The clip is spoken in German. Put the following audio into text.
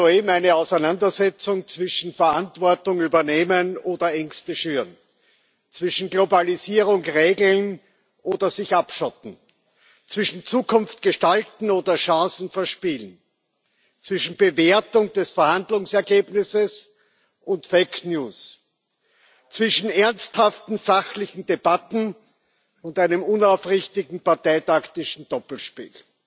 Wir erleben soeben eine Auseinandersetzung zwischen Verantwortung übernehmen und Ängste schüren, zwischen Globalisierung regeln und sich abschotten, zwischen Zukunft gestalten und Chancen verspielen, zwischen Bewertung des Verhandlungsergebnisses und zwischen ernsthaften sachlichen Debatten und einem unaufrichtigen parteitaktischen Doppelspiel.